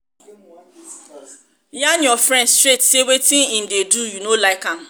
yarn your friend straight sey wetin im do you no like am